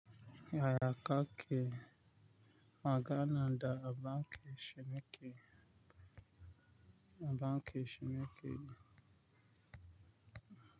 Yaya ka ke magana da banki shi ma ke, banki shi ma ke yi?